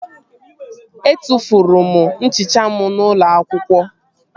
Etufuru m nchicha m n'ụlọ akwụkwọ